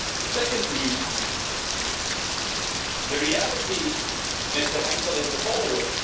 Secondly, the reality, Mr Henkel, is the following.